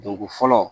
Donko fɔlɔ